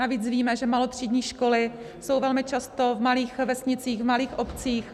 Navíc víme, že malotřídní školy jsou velmi často v malých vesnicích, v malých obcích.